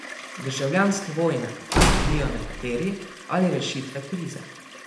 Državljanske vojne, kot se bojijo nekateri, ali rešitve krize?